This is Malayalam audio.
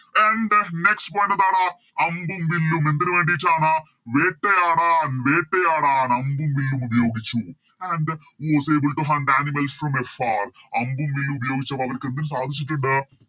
And next point എന്താണ് അമ്പും വില്ലും എന്തിന് വേണ്ടീട്ടാണ് വേട്ടയാടാൻ വേട്ടയാടാൻ അമ്പും വില്ലും ഉപയോഗിച്ചു And was able to hunt animals from a far അമ്പും വില്ലും ഉപയോഗിച്ച അവർക്ക് എന്ത് സാധിച്ചിട്ടുണ്ട്